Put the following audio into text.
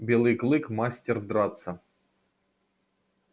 белый клык мастер драться